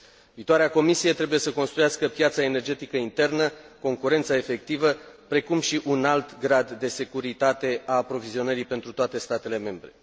Viitoarea Comisie trebuie să construiască piața energetică internă, concurența efectivă, precum și un alt grad de securitate a aprovizionării pentru toate statele membre.